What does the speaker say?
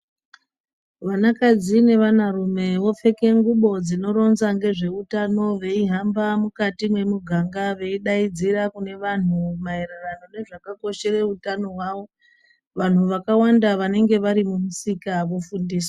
Vana kadzi nevana rume vopfeke ngubo dzinoronza ngezvewutano veyi hamba mukati mwemuganga veyidaidzira kune vandu mahererano ngezvakakoshera utano wavo vanhu vakawanda vanenge vari mumisika vofundiswa.